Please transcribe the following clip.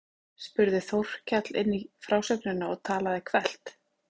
spurði Þórkell inn í frásögnina og talaði hvellt.